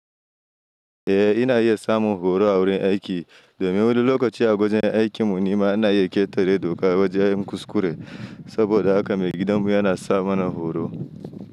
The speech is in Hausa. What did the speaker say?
Eh, ina iya samun horo a wurin aiki. Domin wani lokaci a kusa da aikin mune ma ina iya ƙetare doka a wajen kuskure saboda haka maigidan mu yana sa mana horo.